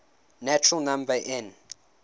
natural number n